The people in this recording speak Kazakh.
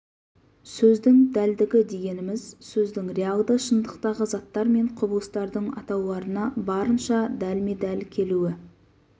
сөздің дәлдігі дегеніміз сөздің реалды шындықтағы заттар мен құбылыстардың атауларына барынша дәлме-дәл келуі